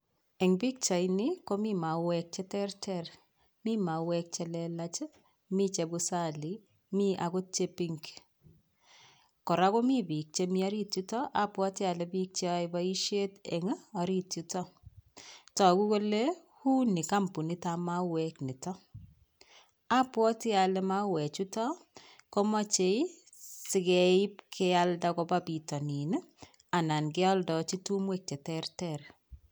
Eng' pikchaini komi mauwek cheterter mi mauwek chelelach mi chebusali mi akot Che pink kora komi biik chemi orit yuto abwoti ale biik cheyoei boishet eng' orit yuto toku kole uu ni kampunitab mauwek nitok apwoti ale mauwe chuto komochei sikeip kealda koba bitonin anan keoldoji tumwek cheterter